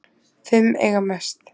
Fimm eiga mest